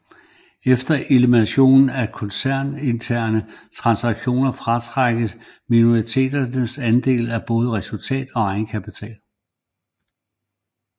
Efter elimination af koncerninterne transaktioner fratrækkes minoritetens andel af både resultat og egenkapital